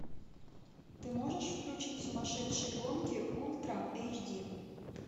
ты можешь включить сумасшедшие гонки ультра эйч ди